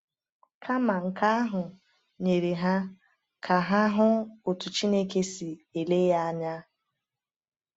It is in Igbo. Kama nke ahụ, nyere ha ka ha hụ otu Chineke si ele ya anya.